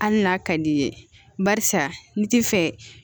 Hali n'a ka di i ye barisa n'i ti fɛ